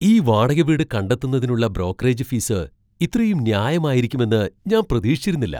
ഈ വാടക വീട് കണ്ടെത്തുന്നതിനുള്ള ബ്രോക്കറേജ് ഫീസ് ഇത്രയും ന്യായമായിരിക്കുമെന്ന് ഞാൻ പ്രതീക്ഷിച്ചിരുന്നില്ല!